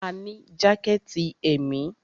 A ní jákẹ̀tì èmi.